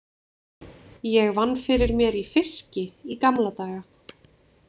Ég vann fyrir mér í fiski í gamla daga.